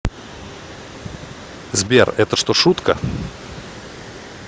сбер это что шутка